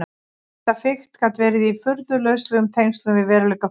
Þetta fikt gat verið í furðu lauslegum tengslum við veruleika fullorðinna.